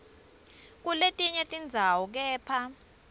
kuletinye tindzawo kepha